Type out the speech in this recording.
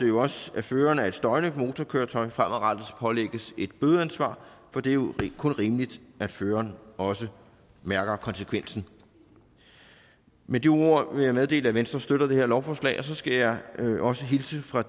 jo også at føreren af et støjende motorkøretøj fremadrettet pålægges et bødeansvar for det er kun rimeligt at føreren også mærker konsekvensen med de ord vil jeg meddele at venstre støtter det her lovforslag så skal jeg også hilse fra